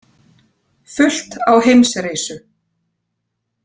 Fullt á Heimsreisu